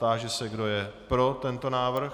Táži se, kdo je pro tento návrh.